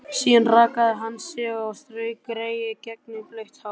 Síðan rakaði hann sig og strauk greiðu gegnum blautt hárið.